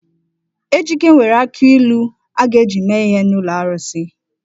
Ejike nwere akị ilu a ga-eji mee ihe n’ụlọ arụsị.